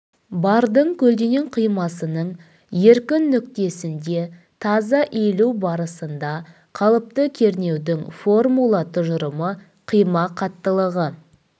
бардың көлденең қимасының еркін нүктесінде таза иілу барысында қалыпты кернеудің формула тұжырымы қима қаттылығы